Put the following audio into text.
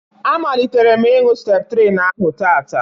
A malitere m ịñu Septrin ahụ taataa